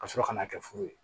Ka sɔrɔ ka na kɛ furu ye